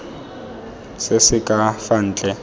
se se ka fa ntle